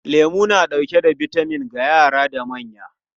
Lemu na dauke da bitamin ga yara da manya.